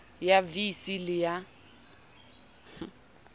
ya vii c le ya